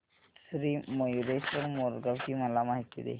श्री मयूरेश्वर मोरगाव ची मला माहिती दे